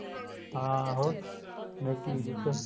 ਹਾਂ ਹੋਰ ਨੇਕੀ ਦੀ ਜਿੱਤ